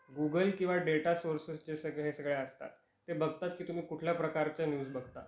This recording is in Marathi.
गूगल किंवा डेटा सोर्सेस जे सगळे हे असतात, ते बघतात की तुम्ही कुठल्या प्रकारच्या न्यूज बघता